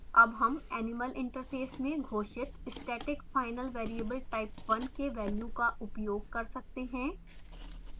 अब हम animal interface में घोषित static final variable type1 के value का उपयोग कर सकते हैं